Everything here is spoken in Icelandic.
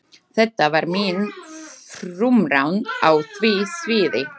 Þetta var mín frumraun á því sviði.